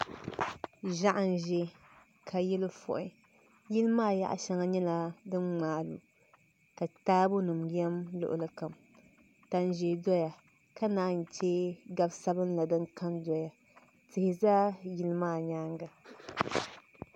Ʒiɛɣu n ʒɛ ka yili fui yili maa yaɣa shɛŋa nyɛla din ŋmaagi ka taabo nim yɛm luɣuli kam tani ʒiɛ doya ka naan chɛ gabi sabinli din ka n doya tihi ʒɛ yili maa nyaanga